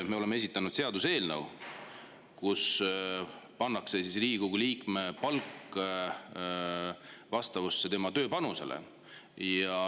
Me oleme esitanud seaduseelnõu, mille järgi Riigikogu liikme palk vastavusse tema tööpanusega.